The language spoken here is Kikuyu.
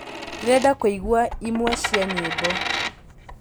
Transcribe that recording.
ndĩrenda kũĩgwaĩmwe cĩa nyĩmbo